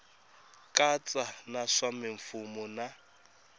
katsa na swa mimfuwo na